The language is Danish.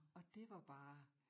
Og dét var bare